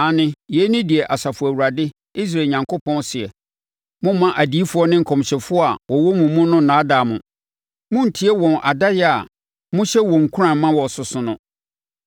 Aane, yei ne deɛ Asafo Awurade, Israel Onyankopɔn seɛ: “Mommma adiyifoɔ ne nkɔmhyɛfoɔ a wɔwɔ mo mu no nnaadaa mo. Monntie wɔn adaeɛ a mohyɛ wɔn nkuran ma wɔsoso no.